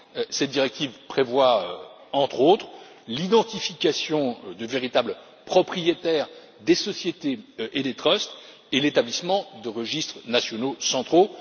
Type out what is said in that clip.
Cette directive prévoit, entre autres, l'identification des véritables propriétaires des sociétés et des trusts et l'établissement de registres nationaux centraux.